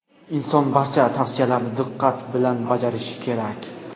Inson barcha tavsiyalarni diqqat bilan bajarishi kerak.